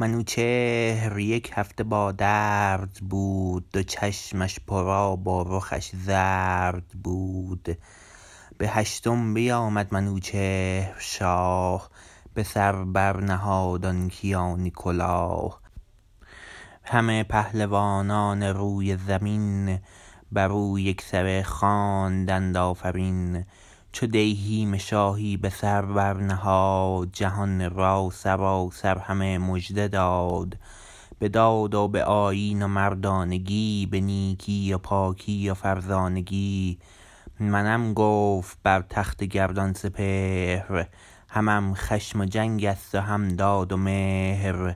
منوچهر یک هفته با درد بود دو چشمش پر آب و رخش زرد بود به هشتم بیامد منوچهر شاه به سر بر نهاد آن کیانی کلاه همه پهلوانان روی زمین بر او یکسره خواندند آفرین چو دیهیم شاهی به سر بر نهاد جهان را سراسر همه مژده داد به داد و به آیین و مردانگی به نیکی و پاکی و فرزانگی منم گفت بر تخت گردان سپهر همم خشم و جنگ است و هم داد و مهر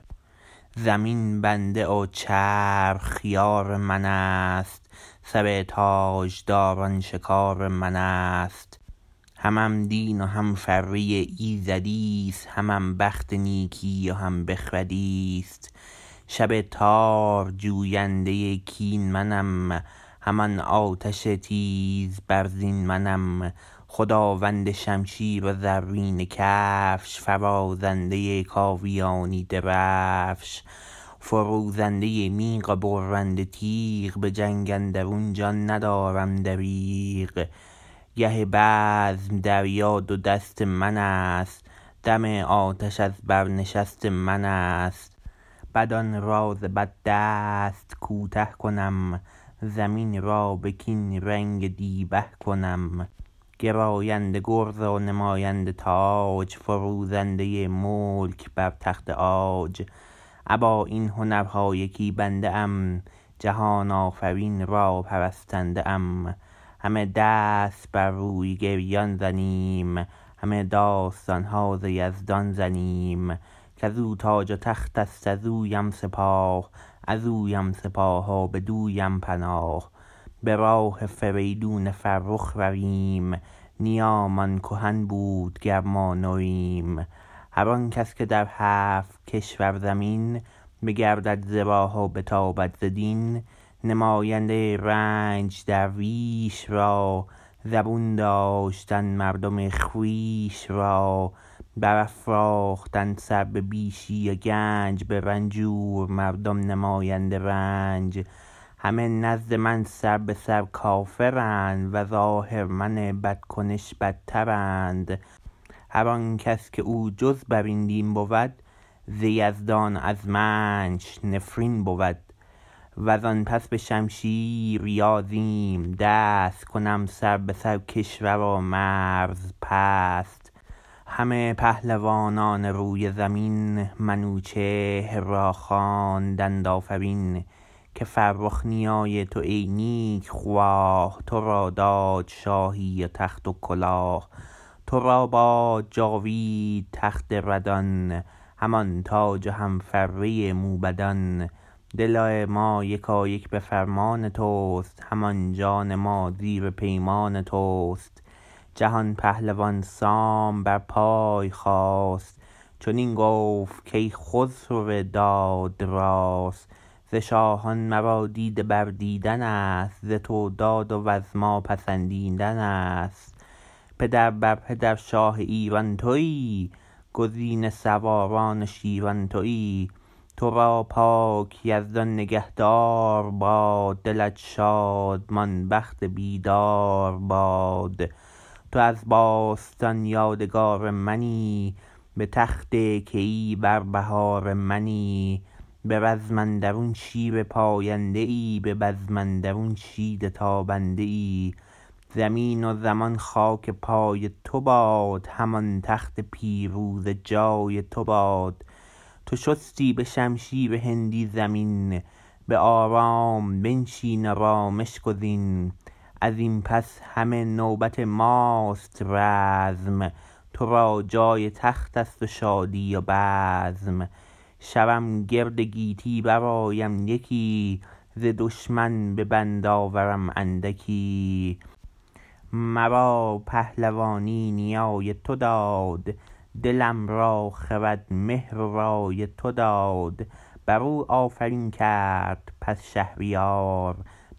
زمین بنده و چرخ یار من است سر تاجداران شکار من است همم دین و هم فره ایزدیست همم بخت نیکی و هم بخردیست شب تار جوینده کین منم همان آتش تیز برزین منم خداوند شمشیر و زرینه کفش فرازنده کاویانی درفش فروزنده میغ و برنده تیغ به جنگ اندرون جان ندارم دریغ گه بزم دریا دو دست من است دم آتش از بر نشست من است بدان را ز بد دست کوته کنم زمین را به کین رنگ دیبه کنم گراینده گرز و نماینده تاج فروزنده ملک بر تخت عاج ابا این هنرها یکی بنده ام جهان آفرین را پرستنده ام همه دست بر روی گریان زنیم همه داستان ها ز یزدان زنیم کز او تاج و تخت است ز اویم سپاه از اویم سپاس و بدویم پناه به راه فریدون فرخ رویم نیامان کهن بود گر ما نویم هر آن کس که در هفت کشور زمین بگردد ز راه و بتابد ز دین نماینده رنج درویش را زبون داشتن مردم خویش را برافراختن سر به بیشی و گنج به رنجور مردم نماینده رنج همه نزد من سر به سر کافرند و ز آهرمن بدکنش بدترند هر آن کس که او جز بر این دین بود ز یزدان و از منش نفرین بود و زان پس به شمشیر یازیم دست کنم سر به سر کشور و مرز پست همه پهلوانان روی زمین منوچهر را خواندند آفرین که فرخ نیای تو ای نیک خواه تو را داد شاهی و تخت و کلاه تو را باد جاوید تخت ردان همان تاج و هم فره موبدان دل ما یکایک به فرمان تو است همان جان ما زیر پیمان تو است جهان پهلوان سام بر پای خاست چنین گفت کای خسرو داد راست ز شاهان مرا دیده بر دیدن است ز تو داد و از ما پسندیدن است پدر بر پدر شاه ایران تویی گزین سواران و شیران تویی تو را پاک یزدان نگه دار باد دلت شادمان بخت بیدار باد تو از باستان یادگار منی به تخت کیی بر بهار منی به رزم اندرون شیر پاینده ای به بزم اندرون شید تابنده ای زمین و زمان خاک پای تو باد همان تخت پیروزه جای تو باد تو شستی به شمشیر هندی زمین به آرام بنشین و رامش گزین از این پس همه نوبت ماست رزم تو را جای تخت است و شادی و بزم شوم گرد گیتی برآیم یکی ز دشمن به بند آورم اندکی مرا پهلوانی نیای تو داد دلم را خرد مهر و رای تو داد بر او آفرین کرد بس شهریار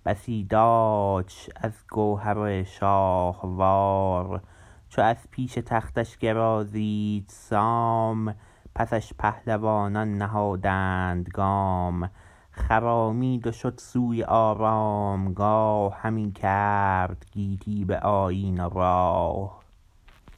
بسی دادش از گوهر شاهوار چو از پیش تختش گرازید سام پسش پهلوانان نهادند گام خرامید و شد سوی آرامگاه همی کرد گیتی به آیین و راه